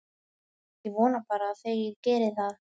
Ég vona bara að þeir geri það.